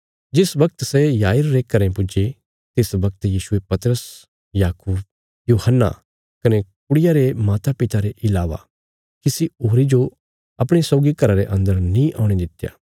जिस बगत सै याईर रे घरें पुज्जे तिस बगत यीशुये पतरस याकूब यूहन्ना कने कुड़िया रे मातापिता रे इलावा किसी होरी जो अपणिया सौगी घरा रे अंदर नीं औणे दित्या